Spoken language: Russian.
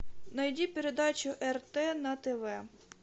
найди передачу рт на тв